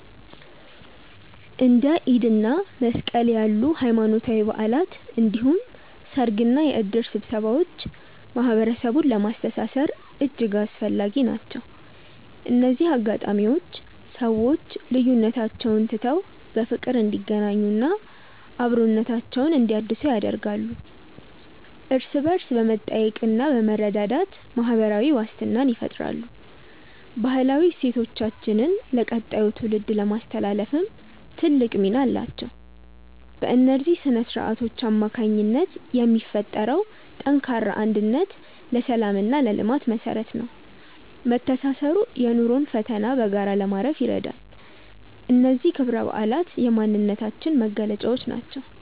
እንደ ኢድ እና መስቀል ያሉ ሃይማኖታዊ በዓላት እንዲሁም ሰርግና የእድር ስብሰባዎች ማህበረሰቡን ለማስተሳሰር እጅግ አስፈላጊ ናቸው። እነዚህ አጋጣሚዎች ሰዎች ልዩነቶቻቸውን ትተው በፍቅር እንዲገናኙና አብሮነታቸውን እንዲያድሱ ያደርጋሉ። እርስ በእርስ በመጠያየቅና በመረዳዳት ማህበራዊ ዋስትናን ይፈጥራሉ። ባህላዊ እሴቶቻችንን ለቀጣዩ ትውልድ ለማስተላለፍም ትልቅ ሚና አላቸው። በእነዚህ ስነ-ስርዓቶች አማካኝነት የሚፈጠረው ጠንካራ አንድነት ለሰላምና ለልማት መሰረት ነው። መተሳሰሩ የኑሮን ፈተና በጋራ ለማለፍ ይረዳል። እነዚህ ክብረ በዓላት የማንነታችን መገለጫዎች ናቸው።